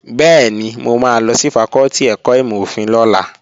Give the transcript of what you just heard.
Bẹ́ẹ̀ni, mo máa lọ sí fakọ́tì ẹ̀kọ́ ìmọ̀-òfin lọ́la